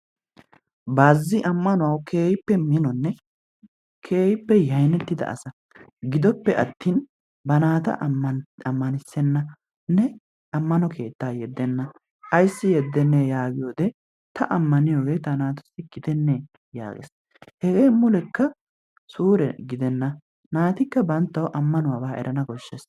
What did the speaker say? Baazzi ammanuwawu keehippe minonne keehippe yaynnettida asaa gidoppe attin ba naata ammanttisenanne ammano keettaa yedenna ayssi yedenne yaagiyoode ta ammaniyoode ta naatussi gidenne yaagees. hege mulekka suure gidenna, naatikka banttaawu ammanuwaba erana koshshees.